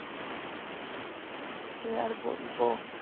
কি আর বলবো